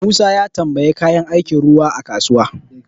Musa ya tambayi kayan aikin ruwan a kasuwa.